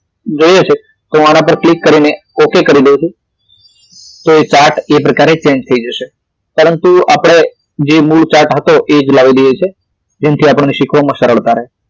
જોઈએ છે તો આના પર ક્લિક કરીને ઓક કરી દવ છું તો એ chart એ પ્રકારે change થઈ જશે પરંતુ આપડે જે મૂળ chart હતો એ જ લાવી દઈએ છીએ એનાથી આપણને શીખવામાં સરળતા રે